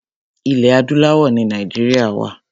Ilẹ̀ adúláwọ̀ ni Nàìjíríà wa.